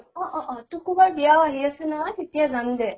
অ অ অ। টুকু বাৰ বিয়াও আহি আছে নহয়, তেতিয়া যাম দে।